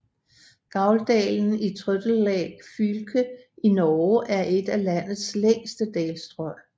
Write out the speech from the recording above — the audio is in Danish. Gauldalen i Trøndelag fylke i Norge er et af landets længste dalstrøg